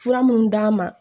Fura minnu d'a ma